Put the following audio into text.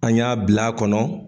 An y'a bila kɔnɔ